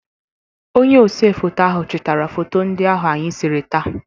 Onye osefoto ahụ chitara foto ndị ahụ anyị sere taa.